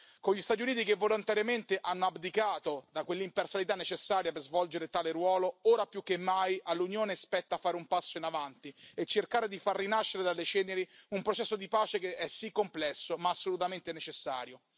Con gli Stati Uniti che volontariamente hanno abdicato da quell'imparzialità necessaria per svolgere tale ruolo, ora più che mai all'Unione spetta fare un passo in avanti e cercare di far rinascere dalle ceneri un processo di pace che è sì complesso, ma assolutamente necessario.